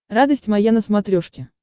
радость моя на смотрешке